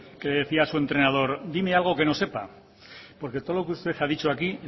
que decía su entrenador dime algo que no sepa porque todo lo que usted ha dicho aquí